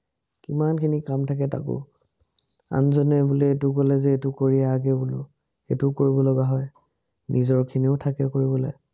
কিমানখিনি কাম থাকে তাকো, আনজনে বোলে এইটো কলে যে এটো কৰি আগহে বোলো, এটো কৰিব লগা হয়, নিজৰখিনিও থাকে কৰিবলে